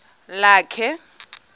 lakhe